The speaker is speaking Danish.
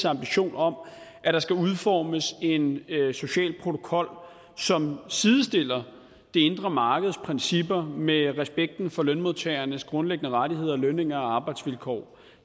ambitionen om at der skal udformes en social protokol som sidestiller det indre markeds principper med respekten for lønmodtagernes grundlæggende rettigheder lønninger og arbejdsvilkår og